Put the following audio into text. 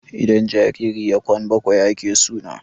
idan jariri ya Kwan bakwai ake suna